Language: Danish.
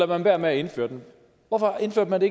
man være med at indføre det hvorfor indførte man